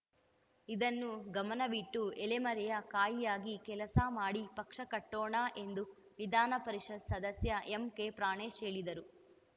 ಇದನ್ನು ಗಮನವಿಟ್ಟು ಎಲೆಮರೆಯ ಕಾಯಿಯಾಗಿ ಕೆಲಸ ಮಾಡಿ ಪಕ್ಷ ಕಟ್ಟೋಣ ಎಂದು ವಿಧಾನ ಪರಿಷತ್‌ ಸದಸ್ಯ ಎಂಕೆ ಪ್ರಾಣೇಶ್‌ ಹೇಳಿದರು